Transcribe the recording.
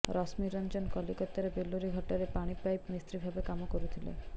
ରଶ୍ମିରଞ୍ଜନ କଲିକତାର ବେଲୁରୀ ଘାଟରେ ପାଣିପାଇପ୍ ମିସ୍ତ୍ରୀ ଭାବରେ କାମ କରୁଥିଲା